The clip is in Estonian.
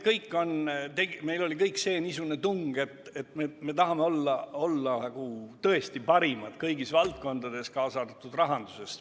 Meil oli kõigil niisugune tung, et me tahame olla tõesti parimad kõigis valdkondades, kaasa arvatud rahanduses.